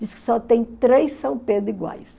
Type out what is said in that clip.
Diz que só tem três São Pedro iguais.